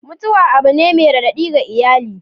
Mutuwa abu ne mai raɗaɗi ga iyali.